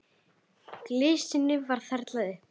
Glysinu var þyrlað upp.